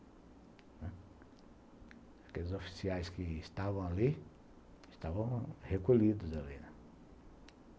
Aqueles oficiais que estavam ali, estavam recolhidos ali, né.